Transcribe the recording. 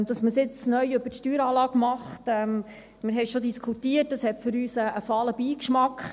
Dass man es jetzt neu über die Steueranlage macht – wir haben es schon diskutiert –, hat für uns einen fahlen Beigeschmack.